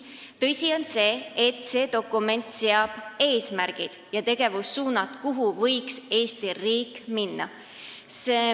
Tõsi on see, et see dokument seab eesmärgid ja tegevussuunad, kuidas võiks Eesti riik edasi minna.